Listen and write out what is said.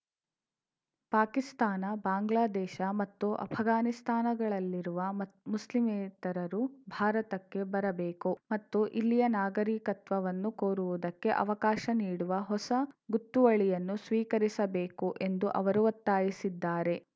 ಪಾಕಿಸ್ತಾನ ಬಾಂಗ್ಲಾದೇಶ ಮತ್ತು ಅಫ್ಘಾನಿಸ್ತಾಗಳಲ್ಲಿರುವ ಮತ್ ಮುಸ್ಲಿಮೇತರರು ಭಾರತಕ್ಕೆ ಬರಬೇಕು ಮತ್ತು ಇಲ್ಲಿಯ ನಾಗರಿಕತ್ವವನ್ನು ಕೋರುವುದಕ್ಕೆ ಅವಕಾಶ ನೀಡುವ ಹೊಸ ಗೊತ್ತುವಳಿಯನ್ನು ಸ್ವೀಕರಿಸಬೇಕು ಎಂದು ಅವರು ಒತ್ತಾಯಿಸಿದ್ದಾರೆ